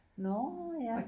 Nårh ja